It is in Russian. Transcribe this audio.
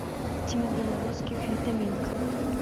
тима белорусских витаминка